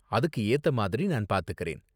அதுக்கு ஏத்த மாதிரி நான் பாத்துக்கறேன்.